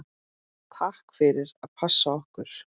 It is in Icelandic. Takk fyrir að passa okkur.